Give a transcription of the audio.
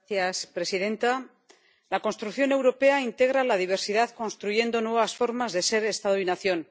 Señora presidenta, la construcción europea integra la diversidad construyendo nuevas formas de ser Estado y nación.